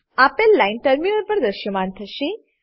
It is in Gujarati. આપેલ લાઈન ટર્મિનલ પર દ્રશ્યમાન થશે